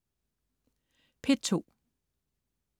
P2: